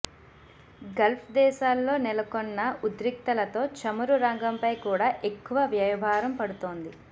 గల్ఫ్దేశాల్లో నెలకొన్న ఉద్రిక్తతలతో చమురు రంగంపై కూడా ఎక్కువ వ్యయభారం పడుతోంది